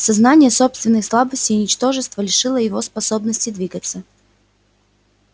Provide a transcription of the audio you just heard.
сознание собственной слабости и ничтожества лишило его способности двигаться